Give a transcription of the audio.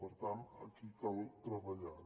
per tant aquí cal treballar